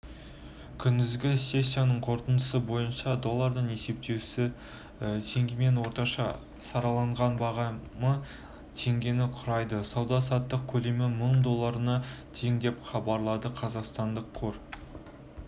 күндізгі сессиясының қорытындысы бойынша долларының есептесуі теңгемен орташа сараланған бағамы теңгені құрайды сауда-саттық көлемі мың долларына тең деп хабарлайды қазақстан қор